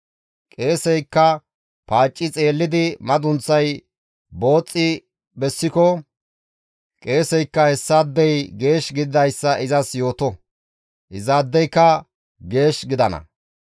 Qeeseykka paacci xeellidi madunththay booxxi bessiko qeeseykka hessaadey geesh gididayssa izas yooto; izaadeyka geesh gidana.